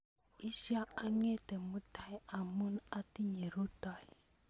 Isyo ang'ete mutai amu atinye rutoi